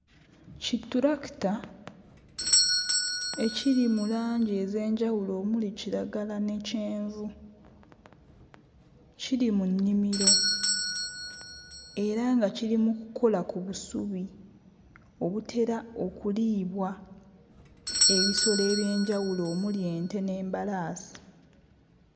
Ki ttulakita ekiri mu langi ez'enjawulo omuli kiragala ne kyenvu, kiri mu nnimiro era nga kiri mu kkola ku busubi obutera okuliibwa ebisolo eby'enjawulo omuli ente n'embalaasi.